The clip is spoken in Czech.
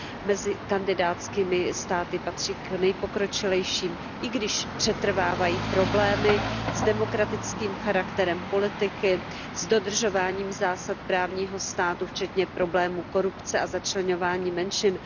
Mezi kandidátskými státy patří k nejpokročilejším, i když přetrvávají problémy s demokratickým charakterem politiky, s dodržováním zásad právního státu, včetně problémů korupce a začleňování menšin.